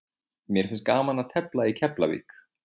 Mér finnst gaman að tefla í Keflavík.